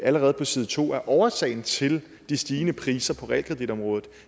allerede på side to at årsagen til de stigende priser på realkreditområdet